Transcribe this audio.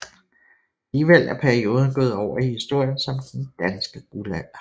Alligevel er perioden gået over i historien som Den danske guldalder